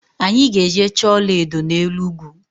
Anyi ga-eje choo ola edo n'elu ugwu